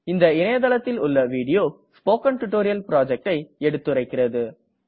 இந்த இணையதளத்தில் உள்ள வீடியோ ஸ்போக்கன் டியூட்டோரியல் projectஐ எடுத்துரைக்கிறது